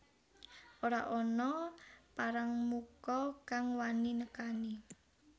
Ora ana parangmuka kang wani nekani